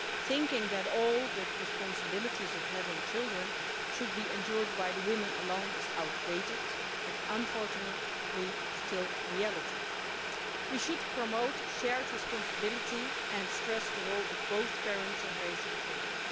Thinking that all the responsibilities of having children should be endured by women alone is outdated but, unfortunately, still reality. We should promote shared responsibility and stress the role of both parents in raising children.